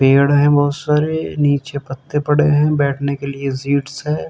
पेड़ हैं बहुत सारे। नीचे पत्ते पड़े हैं। बैठने के लिए जिट्स हैं।